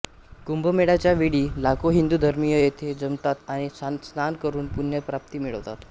कुंभमेळ्याच्या वेळी लाखो हिंदु धर्मीय येथे जमतात आणि स्नान करून पुण्यप्राप्ती मिळवतात